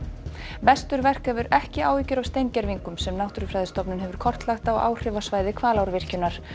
vesturverk hefur ekki áhyggjur af steingervingum sem Náttúrufræðistofnun hefur kortlagt á áhrifasvæði Hvalárvirkjunar